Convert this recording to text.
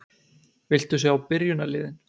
Viltu sjá byrjunarliðin?